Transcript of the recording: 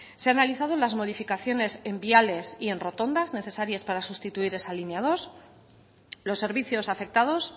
se ha analizado las modificaciones en viales y en rotondas necesarias para sustituir esa línea dos los servicios afectados